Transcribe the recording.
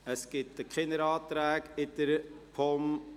Es gibt keine Anträge zum Bereich der POM.